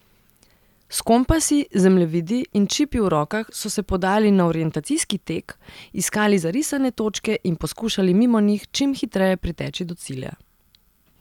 S kompasi, zemljevidi in čipi v rokah so se podali na orientacijski tek, iskali zarisane točke in poskušali mimo njih čim hitreje priteči do cilja.